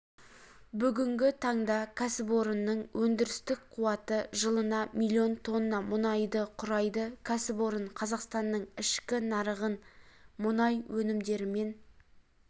бүгінгі таңда кәсіпорынның өндірістік қуаты жылына миллион тонна мұнайды құрайды кәсіпорын қазақстанның ішкі нарығын мұнай өнімдерімен